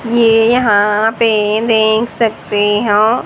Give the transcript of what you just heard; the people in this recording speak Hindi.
ये यहां पे देख सकते हो--